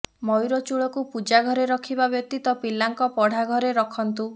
ମୟୂର ଚୂଳକୁ ପୂଜା ଘରେ ରଖିବା ବ୍ୟତୀତ ପିଲାଙ୍କ ପଢ଼ାଘରେ ରଖନ୍ତୁ